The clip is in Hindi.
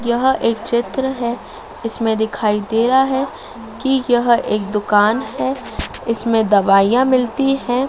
यह एक चित्र है इसमें दिखाई दे रहा है कि यह एक दुकान है इसमें दवाइयाँ मिलती हैं।